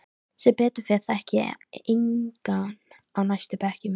Sem betur fer þekki ég engan á næstu bekkjum.